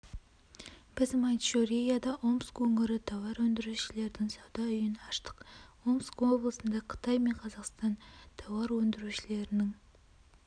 біз маньчжурияда омск өңірі тауар өндірушілерінің сауда үйін аштық омск облысында қытай мен қазақстан тауар өндірушілерінің